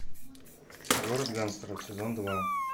город гангстеров сезон два